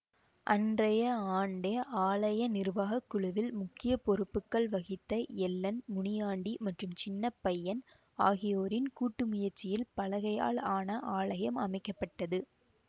அன்றைய ஆண்டே ஆலய நிர்வாக குழுவில் முக்கிய பொருப்புகள் வகித்த எல்லன் முனியாண்டி மற்றும் சின்னபையன் ஆகியோரின் கூட்டு முயற்சியில் பலகையால் ஆன ஆலயம் அமைக்க பட்டது